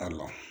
Ayiwa